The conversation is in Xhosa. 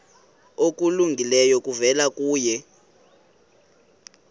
okulungileyo kuvela kuye